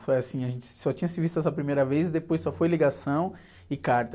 Foi assim, a gente só tinha se visto essa primeira vez e depois só foi ligação e carta.